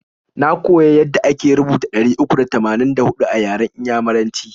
Na koya yada ake rubuta ɗari uku da tamanin da huɗu a yaran inyamuraci.